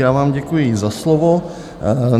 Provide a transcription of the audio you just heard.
Já vám děkuji za slovo.